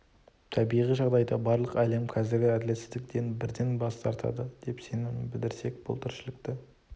табиғи жағдайда барлық әлем қазіргі әділетсіздіктен бірден бас тартады деп сенім білдірсек бұл тіршілікті